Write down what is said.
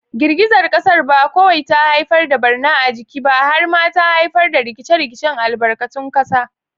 Girgizar kasar ba kawai ta haifar da barna a jiki ba, har ma ta haifar da rikice-rikicen albarkatun kasa.